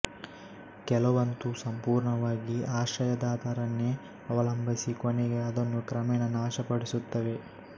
ಕೆಲವಂತೂ ಸಂಪುರ್ಣವಾಗಿ ಆಶ್ರಯದಾತರನ್ನೇ ಅವಲಂಬಿಸಿ ಕೊನೆಗೆ ಅದನ್ನು ಕ್ರಮೇಣ ನಾಶಪಡಿಸುತ್ತವೆ